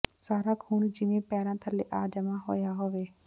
ਸਾਰਾ ਖੂਨ ਜਿਵੇਂ ਪੈਰਾਂ ਥੱਲੇ ਆ ਜਮ੍ਹਾਂ ਹੋਇਆ ਹੋਵੇ